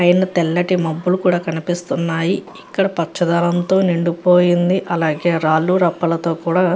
పైన తెల్లటి మబ్బులు కూడా కనిపిస్తున్నాయి ఇక్కడ పచ్చదనం తో నిండిపోయింది. అలాగే రాళ్ళు రప్పాలతో కూడా --